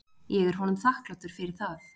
Ég er honum þakklátur fyrir það.